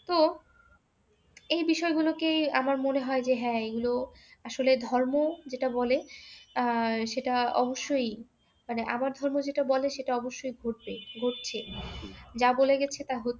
তো, এই বিষযগুলোকেই আমার মনে হয় যে হ্যাঁ এগুলো আসলে ধর্ম যেটা বলে আর সেটা অবশ্যই মানে আমার ধর্ম যেটা বলে সেটা অবশ্যই ঘটবে, ঘটছে। যা বলে গেছে তা হচ্ছে।